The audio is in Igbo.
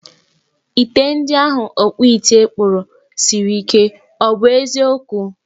Ite ndi ahụ ọkpụite kpụrụ siri ike, ọ bụ eziokwu?